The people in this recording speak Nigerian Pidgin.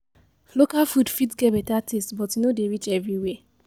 Local food fit get better taste, but e no dey reach everywhere.